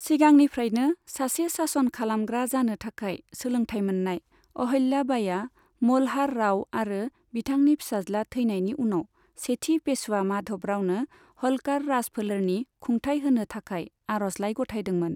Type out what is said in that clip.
सिगांनिफ्रायनो सासे सासन खालामग्रा जानो थाखाय सोलोंथाय मोननाय, अहल्या बाईआ मल्हार राव आरो बिथांनि फिसाज्ला थैनायनि उनाव सेथि पेशवा माधव रावनो ह'लकार राजफोलेरनि खुंथाइ होनो थाखाय आर'जलाइ गथायदोंमोन।